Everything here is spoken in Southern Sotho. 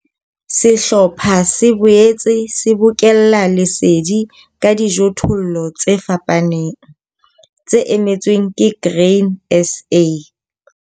Sehlopha se boetse se bokella lesedi ka dijothollo tse fapaneng, tse emetsweng ke Grain SA.